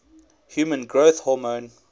human growth hormone